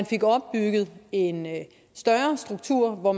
fik opbygget en større struktur og